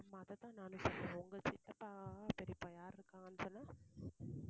ஆமா. அதை தான் நானும் சொல்றேன் உங்க சித்தப்பா பெரியப்பா யாரு இருக்காங்க சொன்னே?